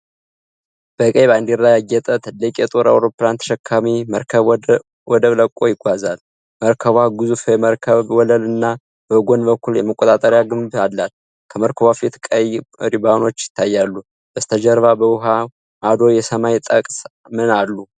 በቀይ ባንዲራ ያጌጠ ትልቅ የጦር አውሮፕላን ተሸካሚ መርከብ ወደብ ለቆ ይጓዛል። መርከቧ ግዙፍ የመርከብ ወለል እና በጎን በኩል የመቆጣጠሪያ ግንብ አላት። ከመርከቧ ፊት ቀይ ሪባኖች ይታያሉ። በስተጀርባ በውሃው ማዶ የሰማይ ጠቀስ ምን አሉ?